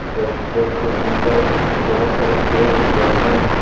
Restaurant के अंदर बहुत सारे चेयर दिख रहे हैं।